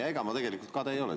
Ega ma tegelikult kade ei ole.